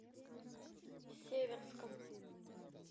северском